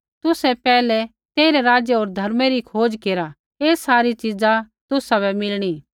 तुसै पैहलै तेइरै राज्य होर धर्मै री खोज केरा ऐ सारी च़ीज़ा तुसाबै मिलणी